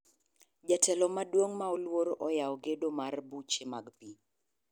Jatelo maduong' ma oluor oyawo gedo mar buche mag pii.